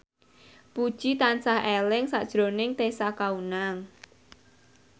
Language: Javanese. Puji tansah eling sakjroning Tessa Kaunang